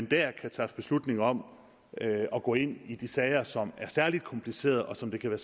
der kan træffe beslutning om at gå ind i de sager som er særlig komplicerede og som det kan